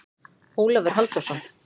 Ólafur Halldórsson.